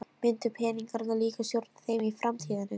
Myndu peningarnir líka stjórna þeim í framtíðinni?